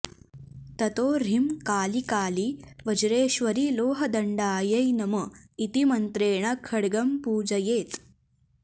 ततो ह्रीं कालि कालि वज्रेश्वरि लोहदण्डायै नम इति मन्त्रेण खड्गम्पूजयेत्